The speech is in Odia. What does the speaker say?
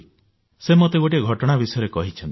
ସେ ମୋତେ ଗୋଟିଏ ଘଟଣା ବିଷୟରେ କହିଛନ୍ତି